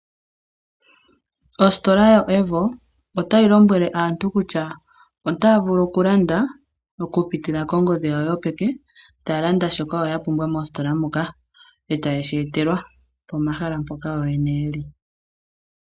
Ositola yoAVO otayi lombwele aantu kutya otaya vulu okulanda okupitila kongodhi yawo yopeke taya landa shoka yo ya pumbwa mositola moka eta yeetelwa pomahala mpoka yo yene yeli.